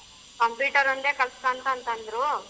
Computer ಒಂದೇ ಕಲ್ತಕಾ ಅಂತಂತಂದ್ರು.